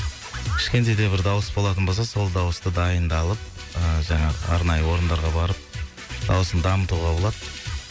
кішкентай да бір дауыс болатын болса сол дауысты дайындалып ыыы жаңағы арнайы орындарға барып дауысын дамытуға болады